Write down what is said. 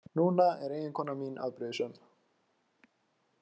Núna er eiginkona mín afbrýðisöm.